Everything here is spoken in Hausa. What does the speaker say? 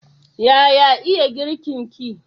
Yaya iya girkin ki?